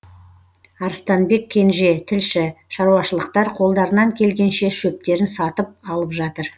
арыстанбек кенже тілші шаруашылықтар қолдарынан келгенше шөптерін сатып алып жатыр